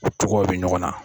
E togoyaw bɛ ɲɔgɔn na.